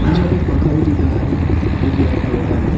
मुझे यहां पे एक पंखा भी दिख रहा है जो कि व्हाइट कलर का है।